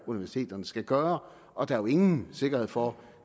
universiteterne skal gøre og der er jo ingen sikkerhed for